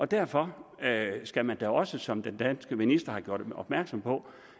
derfor skal man da også som den danske minister har gjort opmærksom på